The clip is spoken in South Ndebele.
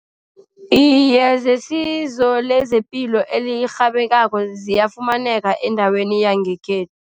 Iye, zesizo lezepilo elirhabekako ziyafumaneka endaweni yangekhethu.